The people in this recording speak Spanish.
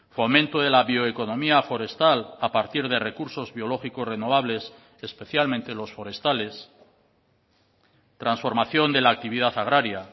fomento de la bioeconomía forestal a partir de recursos biológicos renovables especialmente los forestales transformación de la actividad agraria